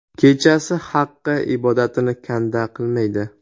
Kechasi Haqqa ibodatini kanda qilmaydi.